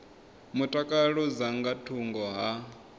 mutakalo dza nga thungo ha